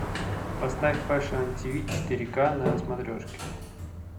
поставь фэшн ти ви четыре ка на смотрешке